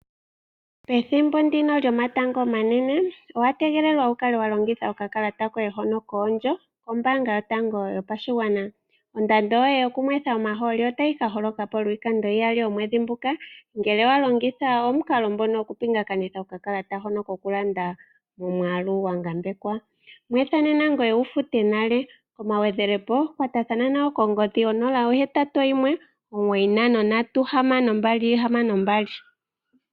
Pethimbo ndino lyomatango omanene, owa tegelelwa wu kale wa longitha okakalata koye hono koondjo kombaanga yotango yopashigwana. Ondando yoye yokunwetha omahooli otayi ka holoka po lwiikando iyali omwedhi nguka, ngele wa longitha omukalo ngono gwokupingakanitha nokakalata hono kokulanda momwaalu gwa ngambekwa. Nwitha nena, ngoye wu fute nale. Omagwedhelepo, kwatathana nayo kongodhi onola, ohetatu, oyimwe, omugoyi, ntano, ndatu, hamano, mbali, hamano, mbali.